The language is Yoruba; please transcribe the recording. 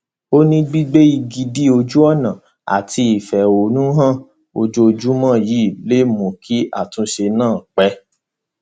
ó ní gbígbé igi dí ojú ọnà àti ìfẹhónú han ojoojúmọ yìí lè mú kí àtúnṣe náà pé